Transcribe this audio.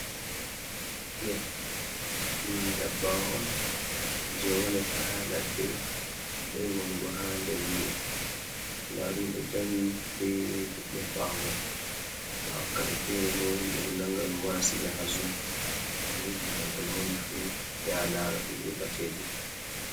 Biya ɗum dabbawa on jey wonata haa ladde, ɗuɗay wanugo haa nder wuro ndaa ɗon dari be leɗɗe haa ɓaawo may. Ba wakkati feere bo, himɓe ɗo nannga ɗum wara siga haa zu mo yiɗi laarugo no woni fu ,ya lara ɗum yoɓa ceede.